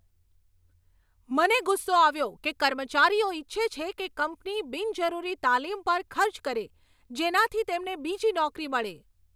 મને ગુસ્સો આવ્યો કે કર્મચારીઓ ઈચ્છે છે કે કંપની બિનજરૂરી તાલીમ પર ખર્ચ કરે, જેનાથી તેમને બીજી નોકરી મળે.